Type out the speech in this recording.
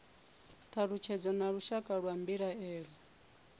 thalutshedzo na lushaka lwa mbilaelo